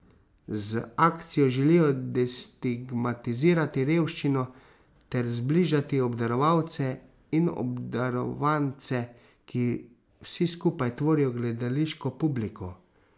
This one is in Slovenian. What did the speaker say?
Z akcijo želijo destigmatizirati revščino ter zbližati obdarovalce in obdarovance, ki vsi skupaj tvorijo gledališko publiko.